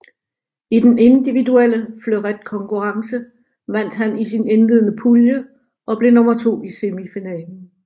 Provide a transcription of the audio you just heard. I den individuelle fleuretkonkurrence vandt han sin indledende pulje og blev nummer to i semifinalen